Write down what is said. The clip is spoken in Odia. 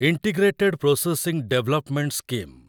integrated processing development scheme